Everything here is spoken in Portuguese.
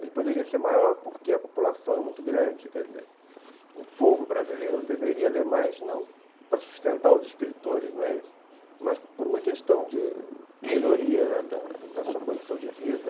Ele poderia ser maior porque a população é muito grande, quer dizer, o povo brasileiro deveria ler mais não para sustentar os escritores, não é isso, mas por uma questão de melhoria, né, da sua condição de vida.